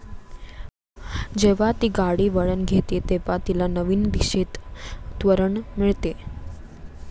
जेव्हा ती गाडी वळण घेते तेव्हा तिला नवीन दिशेत त्वरण मिळते.